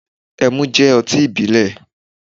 Ẹmu jẹ oti ibilẹ